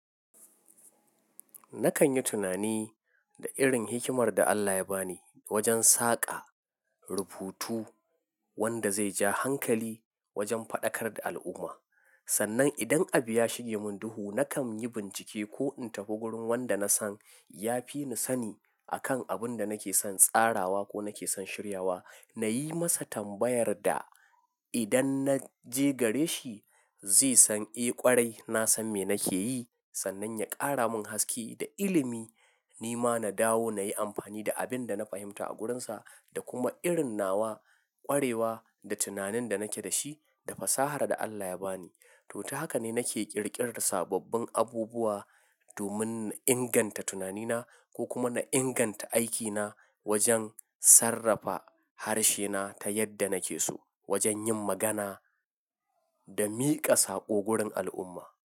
Nakan yi tunani da irin hikimar da Allah ya ba ni wajen saƙa rubutu wanda zai ja hankali wajen faɗakar da al'umma. Sannan idan abu ya shige mun duhu nakan yi bincike ko in tafi wurin wanda nasan ya fi ni sani akan abun da nake son tsarawa ko nake son shiryawa. Na yi masa tambayar da idan na je gare shi zai san eh ƙwarai nasan me nake yi sannan ya ƙara mun haske da ilimi. Ni ma na dawo na yi amfani da abin da na fahimta a gurinsa da kuma irin nawa ƙwarewa da tunanin da nake da shi da fasahar da Allah ya ba ni. To, ta haka ne nake ƙirƙirar sababbin abubuwa domin inganta tunanina ko kuma na inganta aikina wajen sarrafa harshe na ta yadda nake so wajen yin magana da miƙa saƙo gurin al'umma.